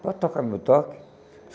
Pode tocar meu toque?